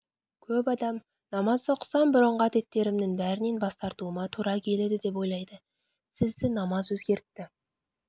көп адам намаз оқысам бұрынғы әдеттерімнің бәрінен бас тартуыма тура келеді деп ойлайды сізді намаз өзгертті